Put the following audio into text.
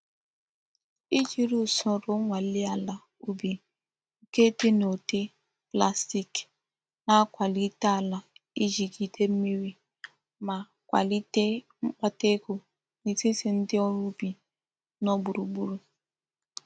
Ijiri usoro nnwale ala ubi nke di nudi plastic na-akwalite ala ijigide mmiri ma kwalite mkpata ego n'etiti ndi órú ubi no gburu gburu.